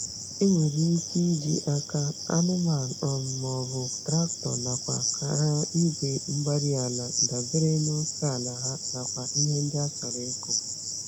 Enwere ike iji aka, anụmanụ, um ma ọ bụ traktọ nakwa-gharị Igwe-mgbárí-ala dabere n'oke ala ha, nakwa ihe ndị a chọrọ ịkụ̀.